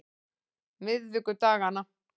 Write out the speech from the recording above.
miðvikudaganna